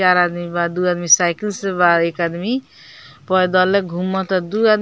चार आदमी बा दू आदमी साइकिल से बा एक आदमी पैदले घुमत बा दू आदमी --